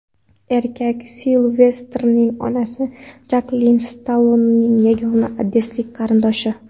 Erkak Silvestrning onasi Jaklin Stallonening yagona odessalik qarindoshi.